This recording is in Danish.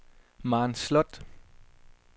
Maren Sloth